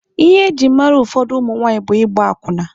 Ihe ejiri mara ụfọdụ ụmụ nwaanyị bụ ịgba akwụna.